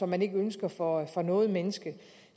man ikke ønsker for for noget menneske